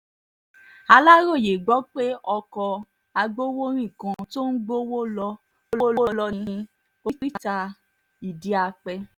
aláròye gbọ́ pé ọkọ̀ agbowórin kan tó ń gbowó lọ gbowó lọ ní oríta idi-ape